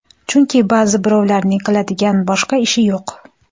Chunki ba’zi birovlarning qiladigan boshqa ishi yo‘q!